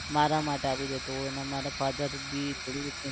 મારા માટે આપી જતો હોય અને મારા father બી થોડું